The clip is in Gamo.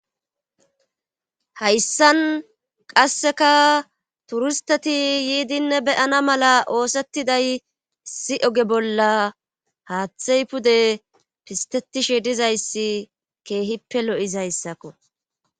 Hayssan qasseka turisteti yiidinne beyana mala oosettiday si oge bolla haaththey pude pistetishe dizayssi keehippe lo7izayssakko.